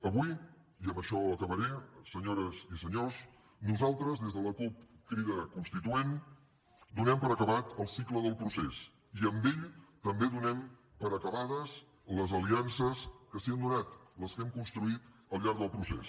avui i amb això acabaré senyores i senyors nosaltres des de la cup crida constituent donem per acabat el cicle del procés i amb ell també donem per acabades les aliances que s’hi han donat les que hem construït al llarg del procés